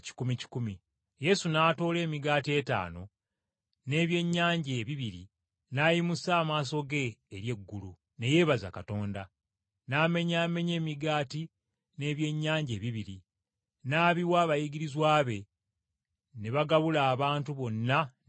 Yesu n’atoola emigaati etaano n’ebyennyanja ebibiri n’ayimusa amaaso ge eri eggulu ne yeebaza Katonda. N’amenyaamenya emigaati n’ebyennyanja ebibiri, n’abiwa abayigirizwa be ne bagabula abantu bonna ne babuna.